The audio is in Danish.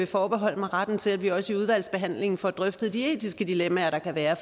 forbeholde mig retten til at vi også i udvalgsbehandlingen får drøftet de etiske dilemmaer der kan være